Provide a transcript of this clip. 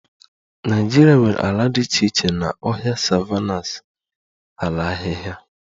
Nigeria nwere ala dị iche iche na ọhịa, savannahs, ala ahịhịa